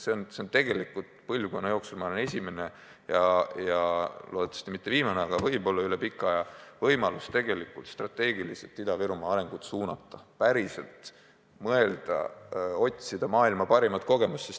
Meile on antud kogu põlvkonna jooksul, üle pika aja, ma arvan, esimene ja loodetavasti mitte viimane võimalus Ida-Virumaa arengut strateegiliselt suunata, päriselt mõelda ja otsida maailma parimat kogemust.